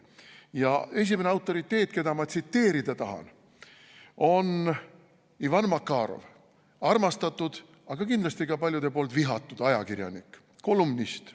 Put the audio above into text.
Ja esimene autoriteet, keda ma tsiteerida tahan, on Ivan Makarov – armastatud, aga kindlasti ka paljude poolt vihatud ajakirjanik, kolumnist.